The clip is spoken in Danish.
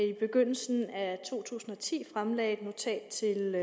i begyndelsen af to tusind og ti fremlagde et notat til